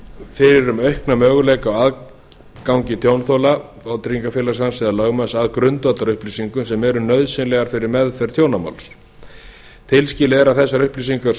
fyrir um aukna möguleika á aðgangi tjónþola vátryggingafélags hans eða lögmanns að grundvallarupplýsingum sem eru nauðsynlegar fyrir meðferð tjónamáls tilskilið er að þessar upplýsingar